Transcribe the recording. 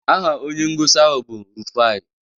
Aha onye ngosi ahụ bụ Rufai